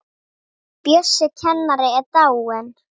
Bjössi kennari er dáinn.